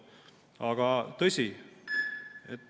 Aga on tõsi ...